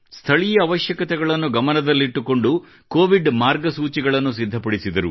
ಸ್ಥಳೀಯ ಅವಶ್ಯಕತೆಗಳನ್ನು ಗಮನದಲ್ಲಿಟ್ಟುಕೊಂಡು ಕೊವಿಡ್ ಮಾರ್ಗಸೂಚಿಗಳನ್ನು ಸಿದ್ಧಪಡಿಸಿದರು